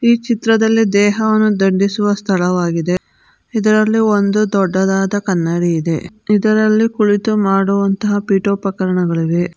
ಈ ಚಿತ್ರದಲ್ಲಿ ದೇಹವನ್ನು ದಂಡಿಸುವ ಸ್ಥಳವಾಗಿದೆ ಇದರಲ್ಲಿ ಒಂದು ದೊಡ್ಡದಾದ ಕನ್ನಡಿ ಇದೆ ಇದರಲ್ಲಿ ಕುಳಿತು ಮಾಡುವ ಪಿಟೋಪಕರ್ಣಗಳು ಇವೆ.